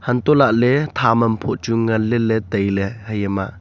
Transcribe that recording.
untoley thaam am phoh chu ngan le le tailey heya ma.